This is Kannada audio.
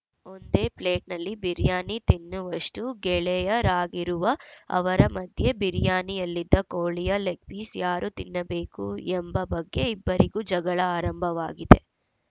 ಒಂದೇ ಪ್ಲೇಟಲ್ಲಿ ಬಿರಿಯಾನಿ ತಿನ್ನುವಷ್ಟುಗೆಳೆಯರಾಗಿರುವ ಅವರ ಮಧ್ಯೆ ಬಿರಿಯಾನಿಯಲ್ಲಿದ್ದ ಕೋಳಿಯ ಲೆಗ್‌ ಪೀಸ್‌ ಯಾರು ತಿನ್ನಬೇಕು ಎಂಬ ಬಗ್ಗೆ ಇಬ್ಬರಿಗೂ ಜಗಳ ಆರಂಭವಾಗಿದೆ